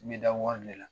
I bɛ da wari de la